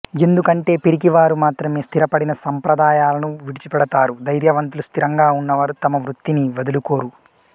ఎందుకంటే పిరికివారు మాత్రమే స్థిరపడిన సంప్రదాయాలను విడిచిపెడతారు ధైర్యవంతులు స్థిరంగా ఉన్నవారు తమ వృత్తిని వదులుకోరు